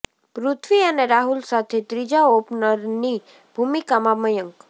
પૃથ્વી અને રાહુલ સાથે ત્રીજા ઓપનરની ભૂમિકામાં મયંક